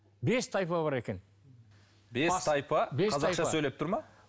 бес тайпа бар екен бес тайпа қазақша сөйлеп тұр ма